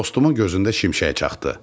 Dostumun gözündə şimşək çaxdı.